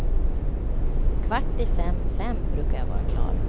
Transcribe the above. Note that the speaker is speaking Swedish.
Kvart i fem, fem brukar jag vara klar.